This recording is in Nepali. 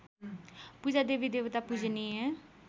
पूजा देवीदेवता पूजनीय